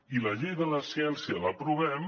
i la llei de la ciència l’aprovem